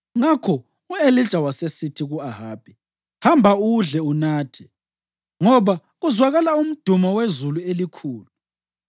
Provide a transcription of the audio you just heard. Ngakho u-Elija wasesithi ku-Ahabi, “Hamba, udle unathe, ngoba kuzwakala umdumo wezulu elikhulu.”